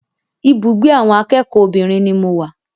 Ibùgbé awọn akẹ́kọ̀ọ́ obìnrin ni mo wà.